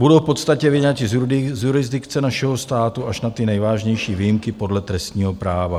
Budou v podstatě vyňati z jurisdikce našeho státu, až na ty nejvážnější výjimky podle trestního práva.